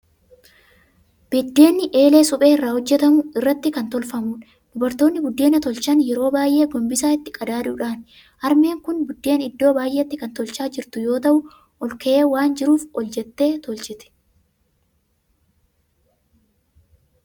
Biddeenni eelee suphee irraa hojjetamu irratti kan tolfamudha. Dubartoonni buddeena tolchan yeroo baay'ee gombisaa itti qadaaduudhaanidha. Harmeen kun buddeen iddoo baay'eetti kan tolchaa jirtu yoo ta'u, ol ka'ee waan jiruuf ol jettee tolchiti.